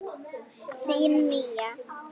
Þín Mía.